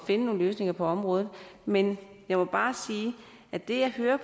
finde nogle løsninger på området men jeg må bare sige at det jeg hører